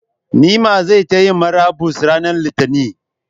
Nimmah zai ta Yi murabus ranar Litinin,